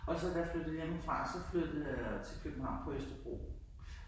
Og så da jeg flyttede hjemmefra så flyttede jeg til København på Østerbro